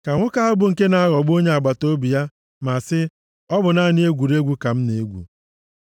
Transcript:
ka nwoke ahụ bụ nke na-aghọgbu onye agbataobi ya ma sị, “ọ bụ naanị egwuregwu ka m na-egwu.”